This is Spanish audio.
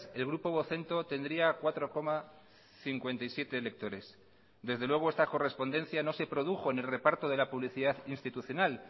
el grupo vocento tendría cuatro coma cincuenta y siete lectores desde luego esta correspondencia no se produjo en el reparto de la publicidad institucional